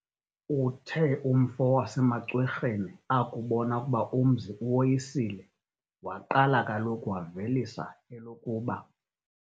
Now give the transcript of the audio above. Uthe umfo wasemaCwerheni akubona ukuba umzi uwoyisile, waqala kaloku wavelisa elokuba,